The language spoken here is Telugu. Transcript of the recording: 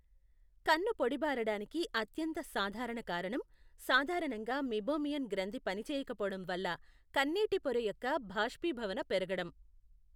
కన్ను పొడిబారడానికి అత్యంత సాధారణ కారణం, సాధారణంగా మీబోమియన్ గ్రంథి పనిచేయకపోవడం వల్ల కన్నీటి పొర యొక్క బాష్పీభవన పెరగడం.